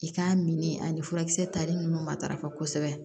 I k'a mini ani furakisɛ tali ninnu matarafa kosɛbɛ